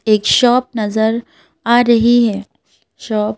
एक शॉप नज़र आ रही है शॉप --